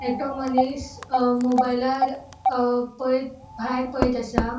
एकटो मनिस अ मोबायलार अ पोएत भायर पळेत असा.